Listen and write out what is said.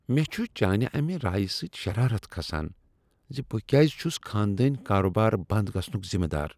مےٚ چھُ چانہ امہ رایہ سۭتی شرارت کھسان ز بہٕ کیازِ چھس خاندٲنۍ کاربار بنٛد گژھنک ذمہٕ دار ۔